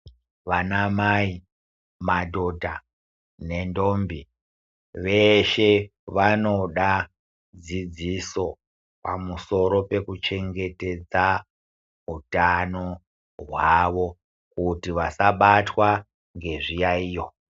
Vanamai ,madhodha, nendombi, veeshe vanoda dzidziso pamusoro pekuchengetedza hutano hwavo, kuti vasabatwa ngezviyaiyo.